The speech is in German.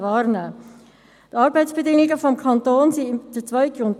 Die Arbeitsbedingungen des Kantons bilden den zweiten Grund.